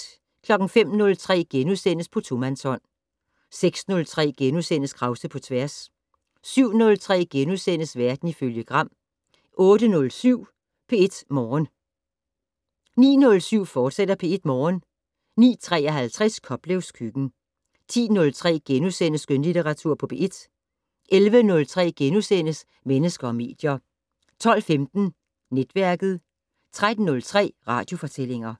05:03: På tomandshånd * 06:03: Krause på tværs * 07:03: Verden ifølge Gram * 08:07: P1 Morgen 09:07: P1 Morgen, fortsat 09:53: Koplevs køkken 10:03: Skønlitteratur på P1 * 11:03: Mennesker og medier * 12:15: Netværket 13:03: Radiofortællinger